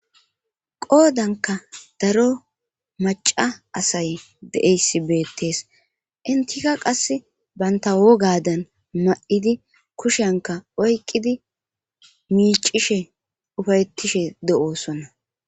Goodanka daro maca asay deeyssi beettees intika qass banta wogadan ma7idi kushenka oyqidi miicishe ufayettishe de7oosonna.